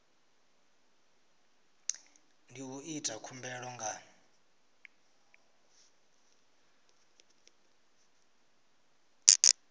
ndi u ita khumbelo nga